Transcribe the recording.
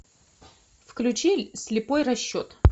включи слепой расчет